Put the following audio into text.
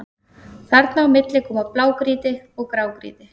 Þarna á milli koma blágrýti og grágrýti.